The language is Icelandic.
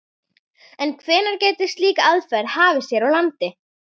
En hvenær gæti slík aðferð hafist hér á landi?